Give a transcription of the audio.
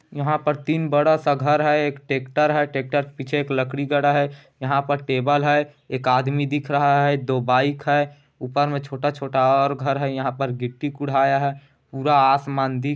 यहाँ पर तीन बड़ा सा घर है एक ट्रेक्टर है ट्रेक्टर पीछे एक लकड़ी गड़ा है यहाँ पर टेबल है एक आदमी दिख रहा है दो बाइक है ऊपर मैं छोटा-छोटा और घर है यहाँ पर गिट्टी कुढाया है पूरा आसमान दिख --